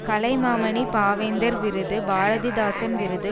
கலைமாமணி பாவேந்தர் விருது பாரதிதாசன் விருது